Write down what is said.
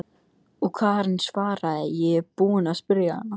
Og Karen svaraði: Ég er búin að spyrja hana.